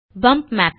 pump mapping